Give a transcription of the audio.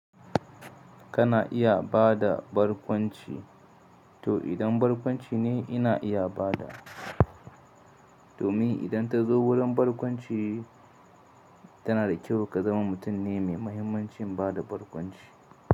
Kana iya ba da barkwanci, to idan barkwanci ne ina iya ba da domin idan ta zo wurin barkwanci tana da kyau ka zama mutum ne mai mahimmancin ba da barkwanci.